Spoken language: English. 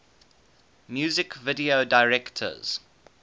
music video directors